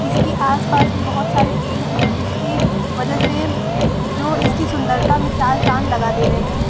इसके आस-पास में बहुत सारे पेड़ हैं जिसकी वजह से जो इसकी सुंदरता में चार चाँद लगा दे रहें है।